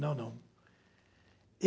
Não, não.